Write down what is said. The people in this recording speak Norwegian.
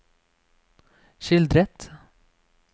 skildret